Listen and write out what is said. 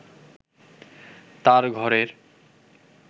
তার ঘরের